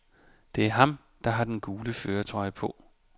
Det er ham, der har den gule førertrøje på.